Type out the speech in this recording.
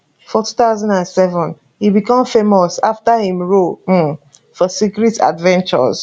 for 2007 e become famous afta im role um for secret adventures